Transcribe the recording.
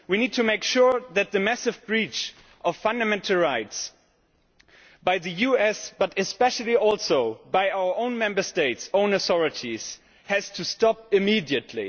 We need to make sure that the massive breach of fundamental rights by the USA, but especially also by our own Member States' own authorities, has to stop immediately.